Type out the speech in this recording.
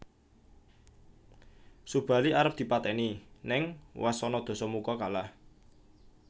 Subali arep dipatèni ning wasana Dasamuka kalah